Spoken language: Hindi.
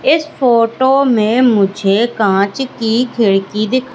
इस फोटो में मुझे कांच की खिड़की दिख--